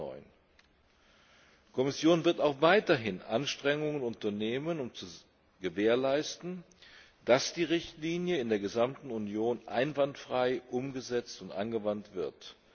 2009. Die Kommission wird auch weiterhin Anstrengungen unternehmen, um zu gewährleisten, dass die Richtlinie in der gesamten Union einwandfrei umgesetzt und angewandt wird.